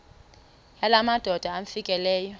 yala madoda amfikeleyo